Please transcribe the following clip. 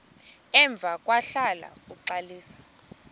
emva kwahlala uxalisa